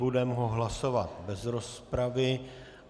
Budeme ho hlasovat bez rozpravy.